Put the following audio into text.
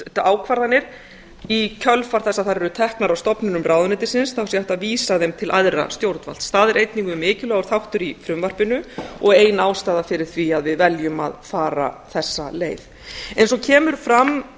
ákvarðanir í kjölfar þess að þær eru teknar af stofnunum ráðuneytisins þá sé hægt að vísa þeim til æðra stjórnvalds það er einnig mjög mikilvægur þáttur í frumvarpinu og ein ástæða fyrir því að við veljum að fara þessa leið eins og kemur fram